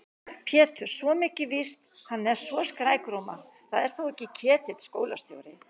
Pétur, svo mikið er víst, hann er svo skrækróma. það er þó ekki Ketill skólastjóri?